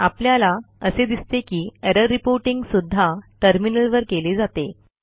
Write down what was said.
आपल्याला असे दिसते की एरर रिपोर्टिंग सुध्दा टर्मिनलवर केले जाते